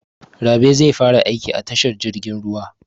Rabe zai fara aiki a tashar jirgin ruwa.